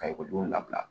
Ka ekɔlidenw labila